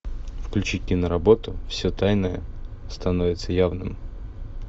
включи киноработу все тайное становится явным